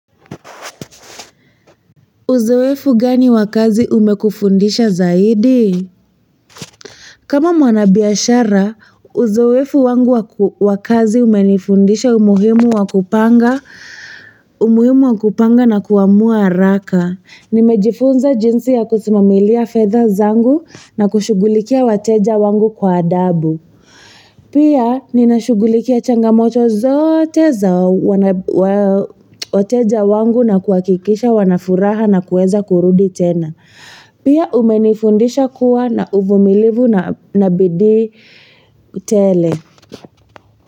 Uzoefu gani wa kazi umekufundisha zaidi? Kama mwanabiashara, uzoefu wangu wa kazi umenifundisha umuhimu wa kupanga na kuamua haraka. Nimejifunza jinsi ya kusimamilia fedha zangu na kushughulikia wateja wangu kwa adabu. Pia, ninashughulikia changamoto zote za wateja wangu na kuhakikisha wana furaha na kuweza kurudi tena. Pia umenifundisha kuwa na uvumilivu na bidii tele.